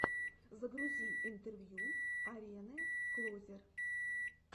загрузи интервью арены клозер